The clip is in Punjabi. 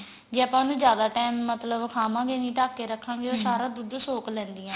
ਜੇ ਆਪਾਂ ਉਨੂੰ ਜਿਆਦਾ time ਮਤਲਬ ਖਾਵਾ ਗੇ ਨੀਂ ਢੱਕ ਕੇ ਰੱਖਾ ਗੇ ਉਹ ਸਾਰਾ ਦੁੱਧ ਸੋਕ ਲੈਂਦੀਆਂ